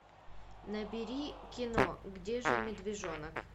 набери кино где же медвежонок